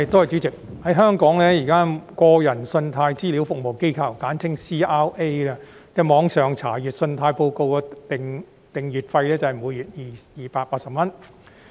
主席，在香港，現時個人信貸資料服務機構的網上查閱信貸報告訂閱費是每月280元。